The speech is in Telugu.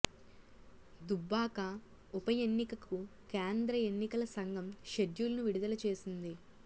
దుబ్బాక ఉప ఎన్నికకు కేంద్ర ఎన్నికల సంఘం షెడ్యూల్ను విడుదల చేసింది